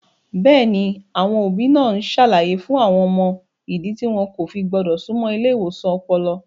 Bẹ́ẹ̀ni, àwọn òbí náà ń ṣàlàyé fún àwọn ọmọ ìdí tí wọn kò fi gbọ́dọ̀ súnmọ́ ilé ìwòsàn ọpọlọ.